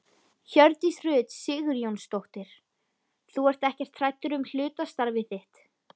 Hjördís Rut Sigurjónsdóttir: Þú ert ekkert hræddur um hlutastarfið þitt?